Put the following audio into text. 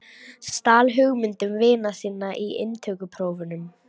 Stal hugmyndum vina sinna í inntökuprófunum